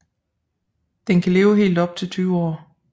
Den kan leve helt op til 20 år